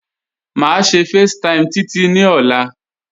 Máṣe facetime Títí ní òla.